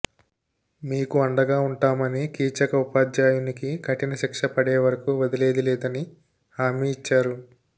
మీకు అండగా ఉంటామని కీచక ఉపాధ్యాయునికి కఠినశిక్షపడే వరకు వదిలేది లేదని హామీ ఇచ్చారు